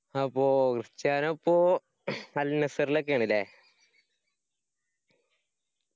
അപ്പൊ ക്രിസ്റ്റിയാനോ ഇപ്പോ al nassr ഇലൊക്കെ ആണ് ല്ലേ